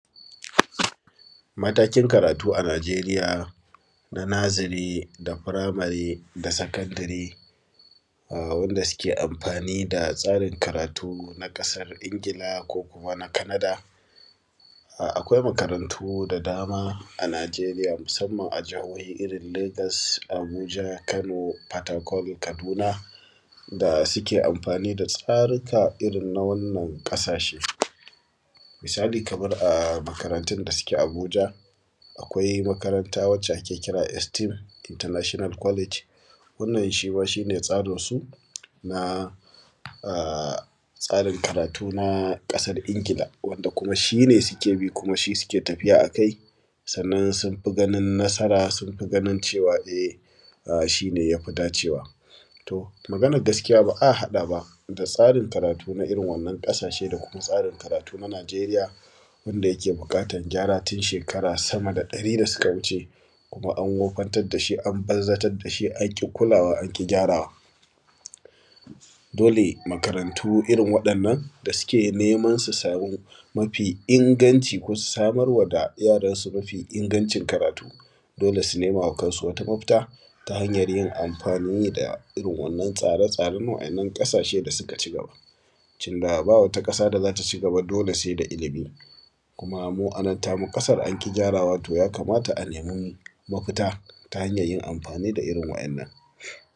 matakin karatu a najeriya na naziri da firamari da sakandiri, aww wanda suke amfani da tsarin karatu na ƙasar ingila ko kuma na kanada Akwai makarantu da dama a najerija musamman a jihohi irin legas, abuja, kano, fatakol, kaduna, da suke amfani da tsari ka irin na wannan ƙasashe. Misali kamar a makarantun da suke a abuja, akwai makaranta wadda ake kira estem international college, wannan shi ma shi ne tsarin su na a, tsarin karatu na: ƙasar ingila. Wanda ku shi ne suke bi shi suke tafiya a kai, sannan sun fi ganin nasara sun fi ganin cewa e:, shi ne ya fi dacewa. To maganar gaskiya ba a haɗa ba da tsarin karatu irin wannan ƙasashe da kuma tsarin karatu na najeriya, wanda yake buƙatan gyara tun shekara sama da ɗari da suka wuce. Kuma an wofantar da shi, an banzartar da shi, an ƙi kulawa an ƙi gyarawa. dole makarantu irin waɗannan da suke neman su sami mafi inganci ko su samar wa da yaransu ma fi inganci karatu, dole su nema wa kansu mafita, ta hanyar yin amfani da waɗannan tsare-tsare na waɗannan ƙasashe da suka cigaba. Cinda ba wata ƙasa da za ta cigaba dole sai da ilimi. Kuma mu a nan tamu ƙasar an ƙi gyarawa, yakamata a nemi mafita ta hanyar yin amfani da irin waɗannan.